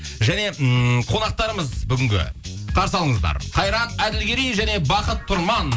және ммм қонақтарымыз бүгінгі қарсы алыңыздар қайрат әділгерей және бақыт тұрман